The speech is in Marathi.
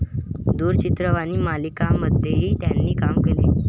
दूरचित्रवाणी मालिकांमध्येही त्यांनी काम केले.